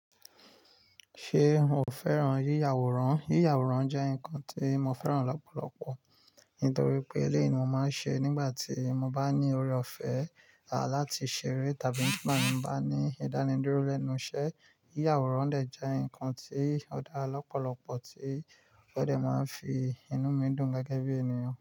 Ṣé o fẹ́ràn yíya àwòrán? Yíya àwòrán jẹ́ nǹkan tí mo fẹ́ràn lọ́pọ̀lọpọ̀ nítorí pé eleyii ni mo máa ń ṣe nígbà tí mo bá ní ọrẹ ọ̀fẹ́ láti ṣeré tàbí nígbà tí mo bá ní ìdánidúró lẹ́nu iṣẹ́. Yíya àwòrán dẹ̀ jẹ́ ǹnkan tí ó dáa lọ́pọ̀lọpọ̀ tí ó dẹ́ máa n fi inú mi dùn gẹ́gẹ́ bí ènìyàn.